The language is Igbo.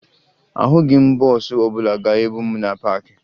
Ahụghị m bọọsụ ọbụla ga-ebu m na paakị